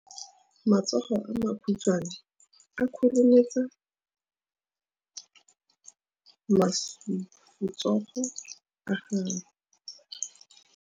Matsogo a makhutshwane a khurumetsa masufutsogo a gago.